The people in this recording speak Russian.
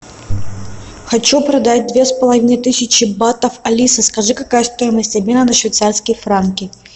хочу продать две с полоивной тысячи батов алиса скажи какая стоимость обмена на швейцарские франки